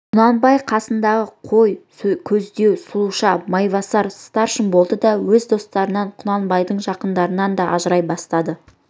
құнанбай қасындағы қой көздеу сұлуша майбасар старшын болды да өз достарынан да құнанбайдың жақындарынан да ажырай бастады